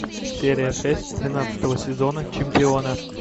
серия шесть тринадцатого сезона чемпионы